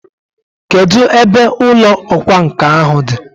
Kedụ ebe ụlọ ọkwa nkà ahụ dị?